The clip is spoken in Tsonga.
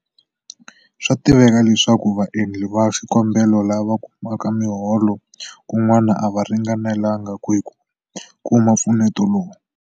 Swa tiveka leswaku vaendli va xikombelo lava kumaka miholo kun'wana a va ringanelanga hi ku kuma mpfuneto lowu.